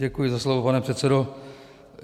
Děkuji za slovo, pane předsedo.